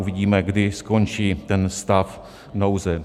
Uvidíme, kdy skončí ten stav nouze.